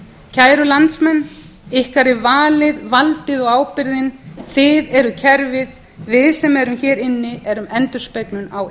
kæru landsmenn ykkar er valið valdið og ábyrgðin þið eruð kerfið við sem erum hér inni erum endurspeglun á